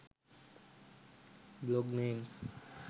blog names